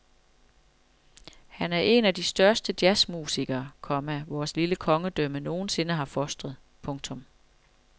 Han er en af de største jazzmusikere, komma vores lille kongedømme nogen sinde har fostret. punktum